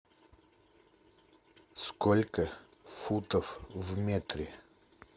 сколько футов в метре